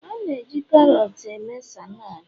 A na-eji karots eme saladi